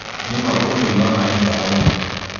Nĩma ũtũmĩri wa maĩ nĩ bata mũno